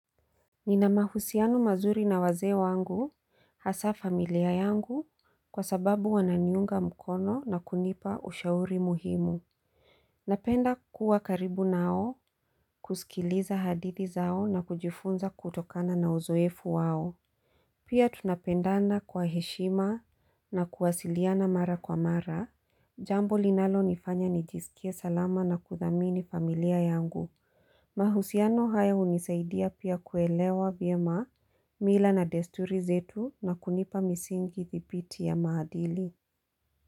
Nina mahusiano mazuri na wazee wangu hasa familia yangu kwa sababu wananiunga mkono na kunipa ushauri muhimu Napenda kuwa karibu nao kusikiliza hadithi zao na kujifunza kutokana na uzoefu wao Pia tunapendana kwa heshima na kuwasiliana mara kwa mara jambo linalonifanya nijisikie salama na kuthamini familia yangu mahusiano haya hunisaidia pia kuelewa vyema mila na desturi zetu na kunipa misingi thibiti ya maadili.